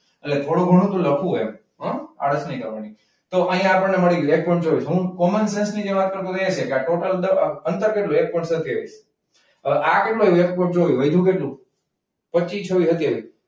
એટલે થોડું ઘણું તો લખવું આળસ નહી કરવાની. તો અહીંયા આપણે મળી ગયું. હું કોમનસેન્સની જે વાત કરતો હતો એટલે આ ટોટલ પચ્ચી છવ્વી હત્યાવી.